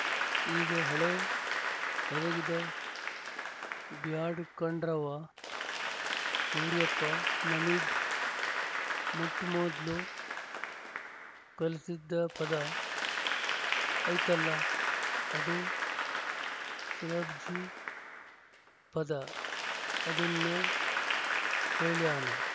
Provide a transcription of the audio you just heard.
ಈಗ ಹಳೇ ಪದಗಿದ ಬ್ಯಾಡ್ ಕಣ್ರವ್ವ ಸೂರ್ಯಪ್ಪ ನಮಿಗ್ ಮೊಟ್‍ಮೊದ್ಲು ಕಲ್ಸಿದ್ ಪದ ಐತಲ್ಲ ಅದೇ ಸ್ಯರಬ್ಜಿ ಪದ ಅದುನ್ನೇ ಹೇಳ್ಯಾನ